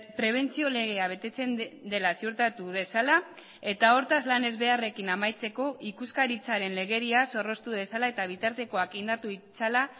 prebentzio legea betetzen dela ziurtatu dezala eta hortaz lan ezbeharrekin amaitzeko ikuskaritzaren legedia zorroztu dezala eta bitartekoak indartu ditzala